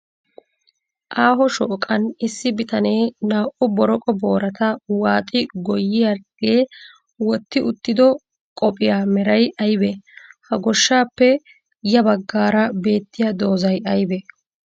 Aaho shooqan issi bitanee naa'u boroqo boorata waaxi goyyiyaagee wotti uttido qophiyaa meray ayibee? Ha goshshaappe ya baggaara beettiya doozzay ayibee?